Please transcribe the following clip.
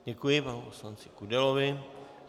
Děkuji panu poslanci Kudelovi.